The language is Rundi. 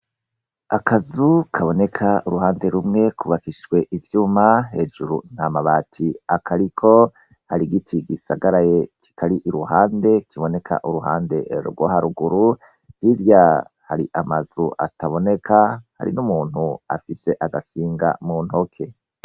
Akazu kaboneka uruhande rumwe kubakishijwe ivyuma hejuru ntamabati akariko hari igiti gisagaraye kikari iruhande kiboneka uruhande rwoharuguru hirya hari amazu ataboneka hari n' umuntu afise agakinga muntoke .